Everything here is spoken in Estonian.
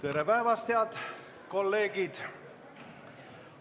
Tere päevast, head kolleegid!